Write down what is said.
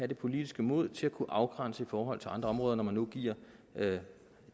det politiske mod til at kunne afgrænse i forhold til andre områder når man nu giver